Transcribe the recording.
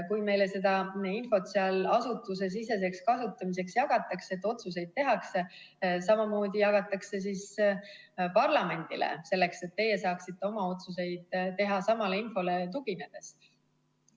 Kui meile seda infot seal asutusesiseseks kasutamiseks jagatakse, otsuseid tehakse, siis samamoodi jagatakse parlamendile, selleks et teie saaksite oma otsuseid teha samale infole tuginedes.